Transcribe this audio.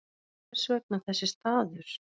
Hvers vegna þessi staður?